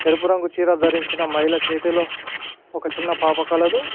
ఎరుపు రంగు చీర ధరించిన మహిళ చేతిలో ఒక చిన్న పాప కలదు.